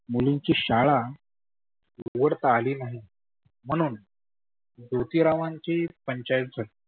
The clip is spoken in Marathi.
मुलींची शाळा उघडता आली नाही म्हणून ज्योतीरावांची पंचायत झाली.